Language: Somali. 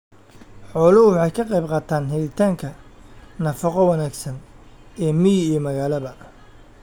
Xooluhu waxay ka qaybqaataan helitaanka nafaqo wanaagsan ee miyi iyo magaalaba.